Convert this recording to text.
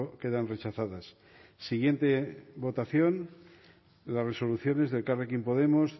quedan rechazadas siguiente votación las resoluciones de elkarrekin podemos